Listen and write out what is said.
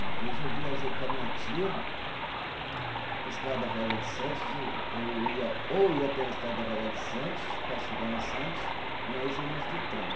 Uma vez eu viajei com a minha tia, a estrada velha de Santos, eu ia ou pela estrada velha de Santos para chegar em Santos, ou nós íamos de trem.